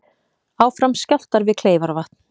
Áfram skjálftar við Kleifarvatn